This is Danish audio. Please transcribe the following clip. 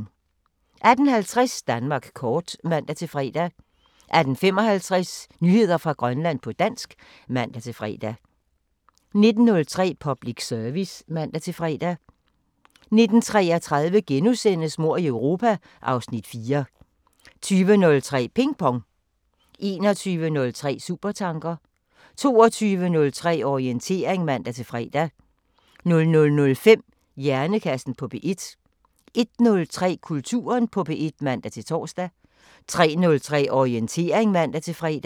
18:50: Danmark kort (man-fre) 18:55: Nyheder fra Grønland på dansk (man-fre) 19:03: Public Service (man-fre) 19:33: Mord i Europa (Afs. 4)* 20:03: Ping Pong 21:03: Supertanker 22:03: Orientering (man-fre) 00:05: Hjernekassen på P1 01:03: Kulturen på P1 (man-tor) 03:03: Orientering (man-fre)